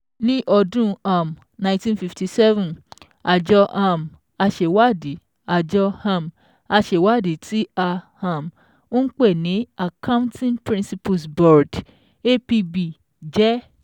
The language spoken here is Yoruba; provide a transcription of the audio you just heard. Ni ọdún um nineteen fifty seven, àjọ um aṣèwádìí àjọ um aṣèwádìí tí à um ń pè ní Accouting Principles Board (APB) jẹ́